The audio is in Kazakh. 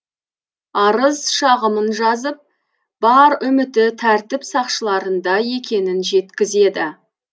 арыз шағымын жазып бар үміті тәртіп сақшыларында екенін жеткізеді